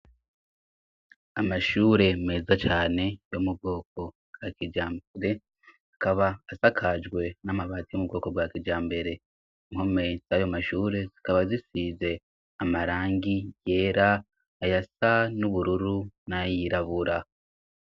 Amashure meza cane yo mu bwoko bwa kijambere akaba asakajwe n'amabati yo mu bwoko bwa kijambere impome zayo mashure zikaba zisize amarangi yera aya sa n'ubururu nayirabura.